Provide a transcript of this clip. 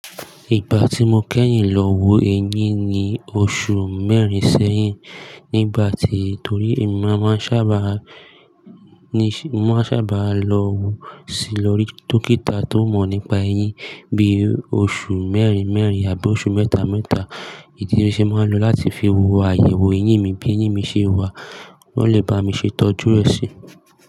Ìgbà tí mo kẹ́yìn lọ wo ẹyin ni oṣù mẹ́rin sẹ́yìn nígbà tí, torí èmi máa ń sá bà lọ wo sí lórí dókítà tó mọ̀ nípa ẹyin bí oṣù mẹ́rin mẹ́rin àbí oṣù mẹ́ta mẹ́ta ìdí tí mo ṣe máa ń lo láti fi wo àyẹ̀wò eyín mi bí eyín mi ṣe wà, wọn lè bá mi ṣe itọ́jú e sí.